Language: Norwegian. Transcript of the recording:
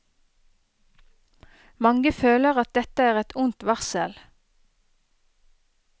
Mange føler at dette er et ondt varsel.